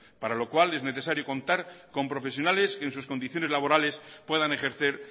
para lo cual es necesario contar con profesionales que en sus condiciones puedan ejercer